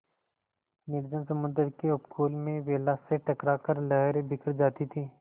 निर्जन समुद्र के उपकूल में वेला से टकरा कर लहरें बिखर जाती थीं